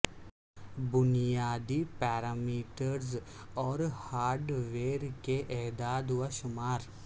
بنیادی پیرامیٹرز اور hardware کے اعداد و شمار